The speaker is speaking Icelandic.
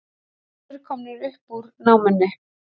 Fjórir komnir upp úr námunni